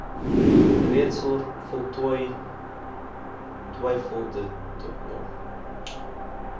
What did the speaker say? reeds voltooi terwylditnog